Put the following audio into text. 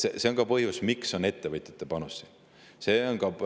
See on ka põhjus, miks on ettevõtjate panus.